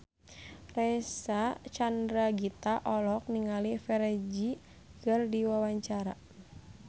Reysa Chandragitta olohok ningali Ferdge keur diwawancara